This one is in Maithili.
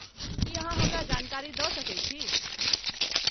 की अहाँ हमरा जानकारी दऽ सकैत छी?